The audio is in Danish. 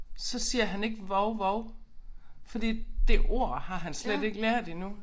Så siger han ikke vov vov fordi det ord har han slet ikke lært endnu